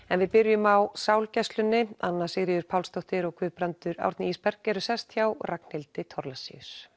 en við byrjum á anna Sigríður Pálsdóttir og Guðbrandur Árni Ísberg eru sest hjá Ragnhildi